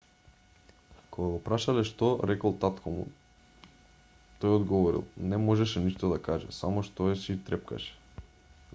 кога го прашале што рекол татко му тој одговорил не можеше ништо да каже само стоеше и трепкаше